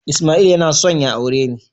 Ismail yana son ya aure ni